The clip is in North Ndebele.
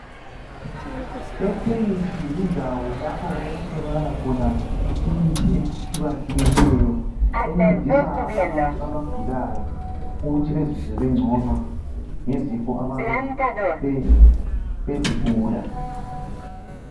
Ekhemisi yindawo lapha okutholakaka khona imithi, etshi...ehlukahlukeneyo. Encedisa abantu abagulayo ukuthi bazizwe bengcono, ngezifo ababe...ababezigula.